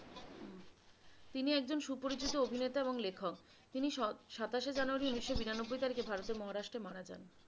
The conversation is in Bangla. তিনি একজন সুপরিচিত অভিনেতা এবং লেখক তিনি স~সাতাশে জানুয়ারী উনিশো বিরানব্বই তারিখে ভারতের মহারাষ্ট্রের মারা যান।